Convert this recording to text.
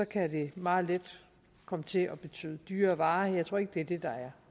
kan det meget let komme til at betyde dyrere varer jeg tror ikke det er det der